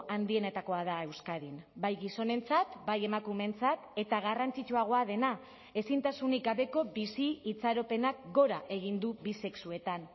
handienetakoa da euskadin bai gizonentzat bai emakumeentzat eta garrantzitsuagoa dena ezintasunik gabeko bizi itxaropenak gora egin du bi sexuetan